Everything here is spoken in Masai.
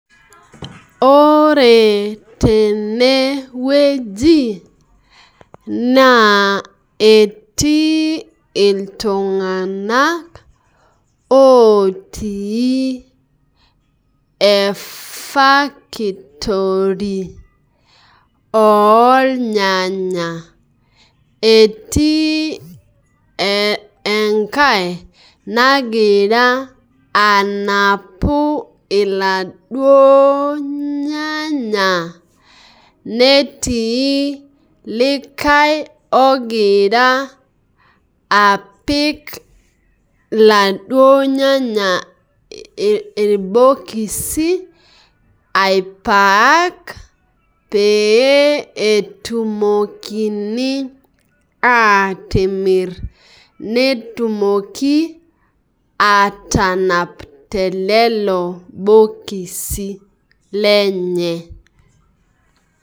Ore tenewueji naa etii iltunganak otii efakitori ornyanya , etii enkae nagira anapu iladuo nyanya netii likae ogira iladuo nyanya irbokisi aipak pee etumokini atimir netumoki atanap tenelelo bokisi lenye.